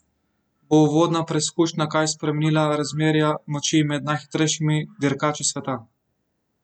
Bo uvodna preizkušnja kaj spremenila razmerja moči med najhitrejšimi dirkači sveta?